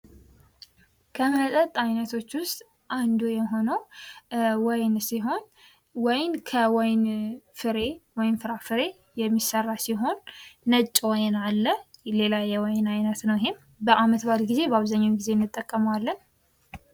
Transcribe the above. ከመጠጥ አይነቶች ውስጥ አንዱ የሆነው ወይን ሲሆን ወይን ከወይን ፍሬ ወይም ፍራፍሬ የሚሠራ ሲሆን ነጭ ወይን አለ ሌላ የወይን ዓይነት ነው ይህም በዓመት በዓል ጊዜ በአብዛኛው ጊዜ እንጠቀመዋለን ::